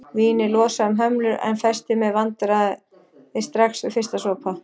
Vínið losaði um hömlur en festi mér vandræði strax við fyrsta sopa.